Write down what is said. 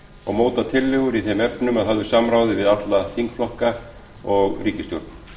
og móta tillögur í þeim efnum að höfðu samráði við alla þingflokka og ríkisstjórn